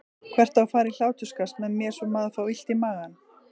Hver á að fara í hláturskast með mér svo maður fái illt í magann?